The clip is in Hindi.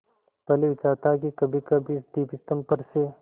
पहले विचार था कि कभीकभी इस दीपस्तंभ पर से